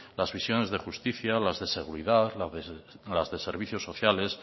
las visiones de justicia o las de seguridad las de servicios sociales